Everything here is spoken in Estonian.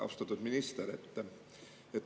Austatud minister!